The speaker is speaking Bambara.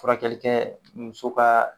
Furakɛli kɛ muso ka